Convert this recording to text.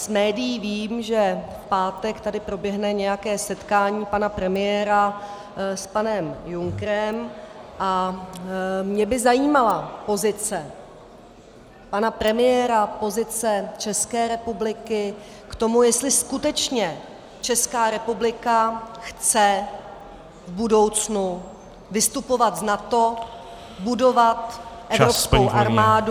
Z médií vím, že v pátek tady proběhne nějaké setkání pana premiéra s panem Junckerem, a mě by zajímala pozice pana premiéra, pozice České republiky k tomu, jestli skutečně Česká republika chce v budoucnu vystupovat z NATO, budovat evropskou armádu -